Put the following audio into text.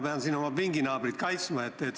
Ma pean siin oma pinginaabrit kaitsma.